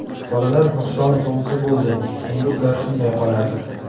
Bolalar nuqsonli tug‘ilsa bo‘ldi, endi ular shunday qoladi.